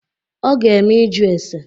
Ọ ga-eme ịjụ ese.